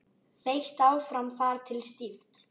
Þeytt áfram þar til stíft.